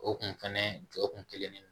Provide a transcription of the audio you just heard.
O kun fɛnɛ jɔ kun kelen ne